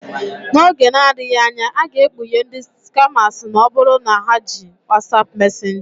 N'oge na-adịghị anya, a ga-ekpughe ndị skamas ma ọ bụrụ na ha na-eji WhatsApp Mesenjaa.